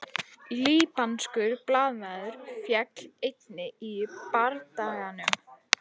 Líbanskur blaðamaður féll einnig í bardaganum